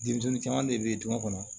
Denmisɛnnin caman de bɛ du kɔnɔ